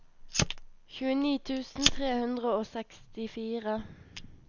tjueni tusen tre hundre og sekstifire